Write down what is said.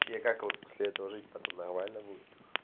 тебе как вот после этого жить потом нормально будет